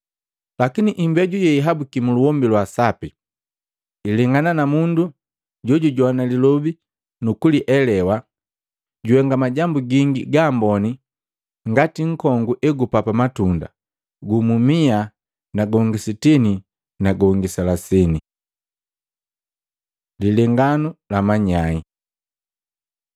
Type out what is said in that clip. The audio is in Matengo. Lakini imbeju yeyahabukiya muluhombi lwa sapi ilengana na mundu jojujoana lilobi nukulielewa, jihenga majambu gingi ga mboni ngati mkongu egupapa matunda, gumu mia na gongi sitini na gongi selasini.” Lilenganu la manyai